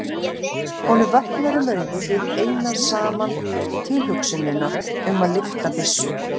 Honum vöknar um augu við eina saman tilhugsunina um að lyfta byssu.